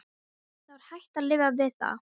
Það var hægt að lifa við það.